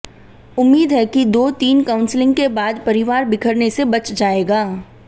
उम्मीद है कि दो तीन काउंसलिंग के बाद परिवार बिखरने से बच जाएगा